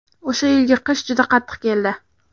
O‘sha yilgi qish juda qattiq keldi.